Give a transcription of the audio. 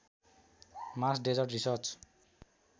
Mars desert research